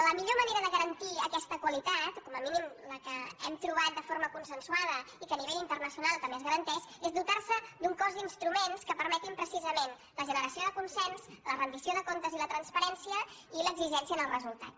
la millor manera de garantir aquesta qualitat com a mí nim la que hem trobat de forma consensuada i que a nivell internacional també es garanteix és dotar se d’un cos d’instruments que permetin precisament la generació de consens la rendició de comptes i la transparència i l’exigència en els resultats